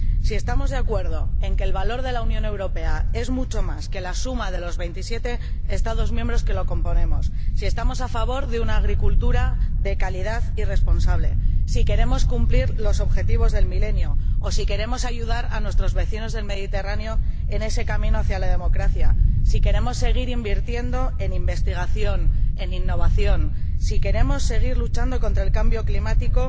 Si estamos de acuerdo en que el valor de la Unión Europea es mucho más que la suma de los veintisiete Estados miembros que la componen, si estamos a favor de una agricultura de calidad y responsable, si queremos cumplir los Objetivos del Milenio, o si queremos ayudar a nuestros vecinos del Mediterráneo en ese camino hacia la democracia, si queremos seguir invirtiendo en investigación e innovación, si queremos seguir luchando contra el cambio climático